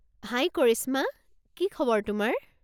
হাই কৰিশ্মা, কি খবৰ তোমাৰ?